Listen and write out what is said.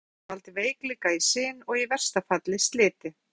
Langvarandi bólga getur valdið veikleika í sin og í versta falli sliti.